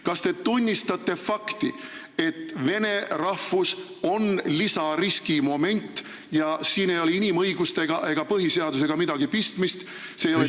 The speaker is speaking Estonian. Kas te tunnistate fakti, et vene rahvus on lisariski moment ja siin ei ole inimõigustega ega põhiseadusega midagi pistmist?